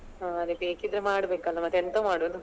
ಹ ಅದೆ ಬೇಕಿದ್ರೆ ಮಾಡ್ಬೇಕಲ್ಲ ಮತೆಂತ ಮಾಡುದು.